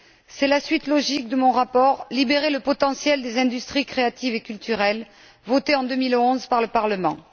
C'est la suite logique de mon rapport Libérer le potentiel des industries créatives et culturelles, voté en 2001 par le Parlement.